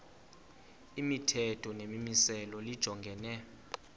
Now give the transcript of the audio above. imithetho nemimiselo lijongene